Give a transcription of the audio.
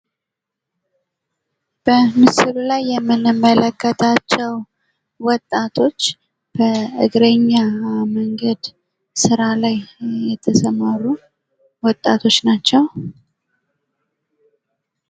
በምስሉ ላይ የምንመለከታቸው ወጣቶች በእግረኛ መንገድ ስራ ላይ የተሰማሩ ወጣቶች ናቸው።